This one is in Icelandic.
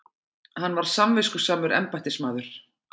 Hann var samviskusamur embættismaður.